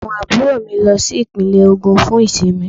Àwọn àbúrò mi lọ sí Ìpínlẹ̀ Ògùn fún ìsinmi